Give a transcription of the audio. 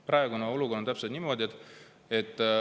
Praegune olukord on täpselt selline.